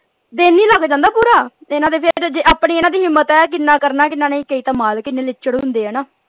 ਤੇ ਇਹਨਾਂ ਦੇ ਜੇ ਆਪਣੀ ਇਹਨਾਂ ਦੀ ਹਿੰਮਤ ਹੈ ਕਿੰਨਾ ਕਰਨਾ ਹੈ ਕਿੰਨਾ ਨਹੀਂ ਕਈ ਤਾਂ ਮਾਲਕ ਹੀ ਏਨੇ ਲੀਚੜ ਹੁੰਦੇ ਹੈ ਨਾ।